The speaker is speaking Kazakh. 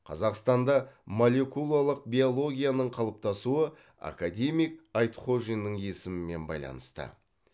қазақстанда молекулалық биологияның қалыптасуы академик айтхожиннің есімімен байланысты